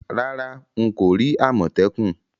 Rárá, n ko ri àmòtẹ́kùn